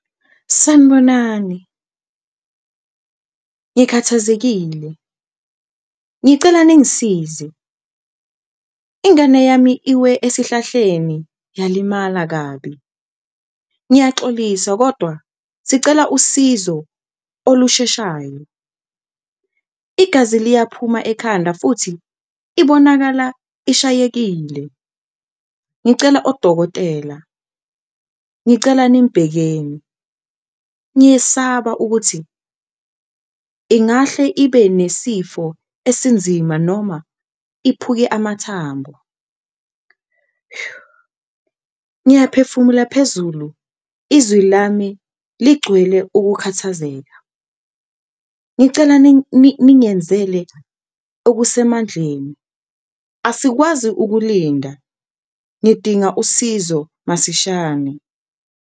Sanibonani, ngikhathazekile, ngicela ningisize, ingane yami iwe esihlahleni yalimala kabi, ngiyaxolisa kodwa sicela usizo olusheshayo igazi liyaphuma ekhanda futhi ibonakala ishayekile. Ngicela odokotela, ngicela nimbhekeni ngiyesaba ukuthi ingahle ibe nesifo esinzima noma iphuke amathambo, ngiyaphefumula phezulu izwi lami ligcwele ukukhathazeka. Ngicela ningenzele okusemandleni asikwazi ukulinda ngidinga usizo masishane.